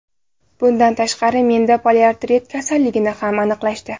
Bundan tashqari, menda poliartrit kasalligini ham aniqlashdi.